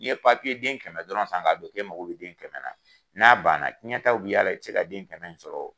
Ni ye den kɛmɛ dɔrɔn san k'a don, k'e mago bi den kɛmɛ na, n'a banna cɛtaw bi y'a la, i ti se ka den kɛmɛ in sɔrɔ